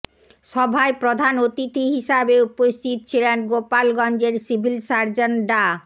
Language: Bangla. সভায় প্রধান অতিথি হিসাবে উপস্থিত ছিলেন গোপালগঞ্জের সিভিল সার্জন ডা